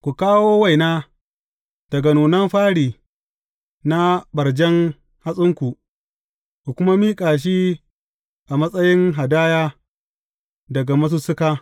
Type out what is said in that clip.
Ku kawo waina daga nunan fari na ɓarzajjen hatsinku, ku kuma miƙa shi a matsayin hadaya daga masussuka.